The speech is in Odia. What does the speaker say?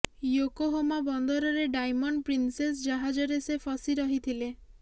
ୟୋକୋହୋମା ବନ୍ଦରରେ ଡାଇମଣ୍ଡ ପ୍ରିନସେସ୍ ଜାହାଜରେ ସେ ଫସି ରହିଥିଲେ